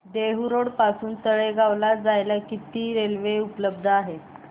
Dehu road पासून तळेगाव ला जायला किती रेल्वे उपलब्ध आहेत